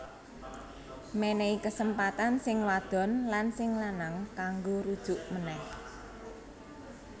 Mènèhi kesempatan sing wadon lan sing lanang kanggo rujuk ménèh